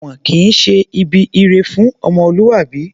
Èwọ̀n kìí ṣe ibi ire fún ọmọlúwàbí